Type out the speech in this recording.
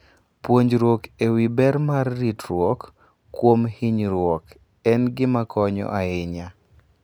Puonjruok e wi ber mar ritruok kuom hinyruok en gima konyo ahinya.